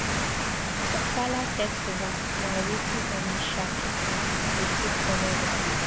Ofala festival na weti Onitsha pipu dey take honour their leaders.